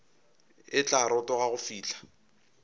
e tla rotoga go fihla